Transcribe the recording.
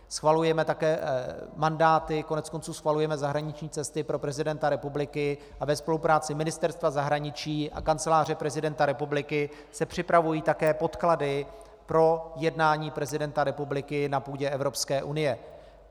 Schvalujeme také mandáty, koneckonců schvalujeme zahraniční cesty pro prezidenta republiky a ve spolupráci Ministerstva zahraničí a Kanceláře prezidenta republiky se připravují také podklady pro jednání prezidenta republiky na půdě Evropské unie.